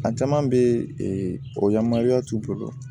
A caman bɛ t'u bolo